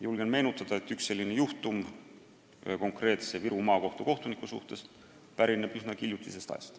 Julgen meenutada, et üks selline juhtum ühe konkreetse Viru Maakohtu kohtunikuga pärineb üsnagi hiljutisest ajast.